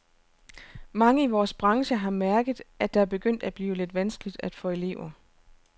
Mange i vores branche har mærket, at det er begyndt at blive lidt vanskeligt at få elever.